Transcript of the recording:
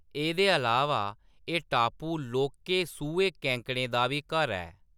एह्‌‌‌दे अलावा, एह्‌‌ टापू लौह्‌‌‌के सूहे केकड़ें दा बी घर ऐ।